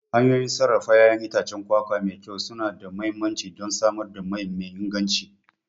Hanyoyin sarrafa ƴaƴan itacen kwakwa mai kyau suna da mahimmanci don samar da mai me inganci.